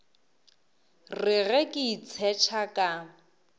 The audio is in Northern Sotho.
re ge ke itshetšha ka